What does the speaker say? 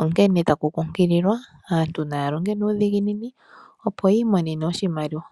onkene taku nkunkiliwa aantu yalonge nuudhiginini opo yiimonene oshimaliwa.